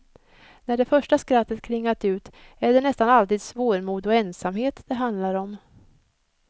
När det första skrattet klingat ut är det nästan alltid svårmod och ensamhet det handlar om.